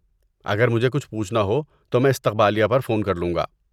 اگر مجھے کچھ پوچھنا ہو تو میں استقبالیہ پر فون کر لوں گا۔